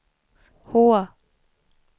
H